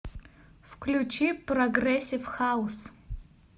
включи прогрессив хаус